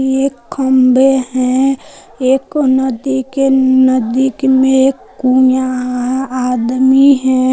एक खम्भे हैं एक नदी के नदी के में आदमी है।